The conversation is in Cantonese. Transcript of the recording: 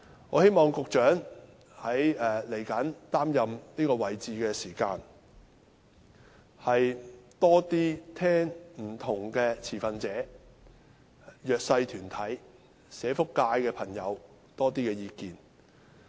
我希望局長日後擔任這職位時，能多些聆聽不同持份者、弱勢社群、社福界朋友的意見。